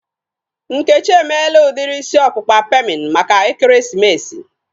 Nkechi emela udiri isi ọkpụkpa pemin maka ekeresimesi